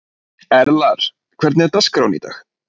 Erlar, hvernig er dagskráin í dag?